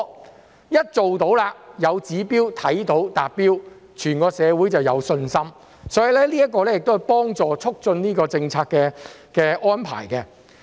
定有指標後，一旦做到了，看到達標了，整個社會就有信心，這亦可以幫助促進政策安排。